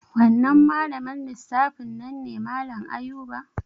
Wannan malamin lissafi nan ne malan Ayuba